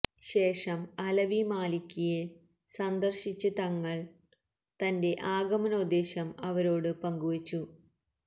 ശേഷം അലവി മാലിക്കിയെ സന്ദര്ശിച്ച് തങ്ങള് തന്റെ ആഗമനോദ്ദേശം അവരോട് പങ്കുവെച്ചു